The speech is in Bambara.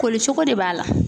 Koli cogo de b'a la.